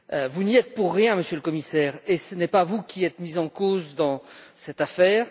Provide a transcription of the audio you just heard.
Vous n'y êtes pour rien, Monsieur le Commissaire, et ce n'est pas vous qui êtes mis en cause dans cette affaire.